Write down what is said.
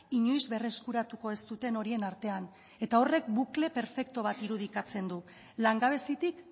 inoiz berreskuratuko ez duten horien artean eta horrek bukle perfektu bat irudikatzen du langabezitik